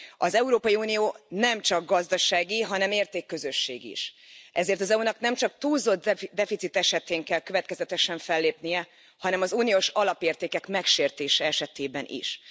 Az Európai Unió nemcsak gazdasági, hanem értékközösség is, ezért az EU nak nem csak túlzott deficit esetén kell következetesen fellépnie, hanem az uniós alapértékek megsértése esetében is.